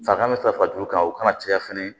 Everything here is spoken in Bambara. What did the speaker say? Fakan bɛ farati kan o kana caya fɛnɛ